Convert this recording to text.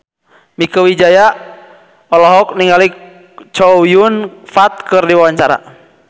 Mieke Wijaya olohok ningali Chow Yun Fat keur diwawancara